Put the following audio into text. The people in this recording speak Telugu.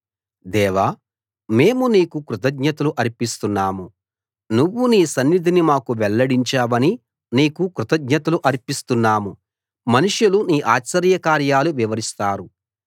దేవా మేము నీకు కృతజ్ఞతలు అర్పిస్తున్నాము నువ్వు నీ సన్నిధిని మాకు వెల్లడించావని నీకు కృతజ్ఞతలు అర్పిస్తున్నాము మనుషులు నీ ఆశ్చర్యకార్యాలు వివరిస్తారు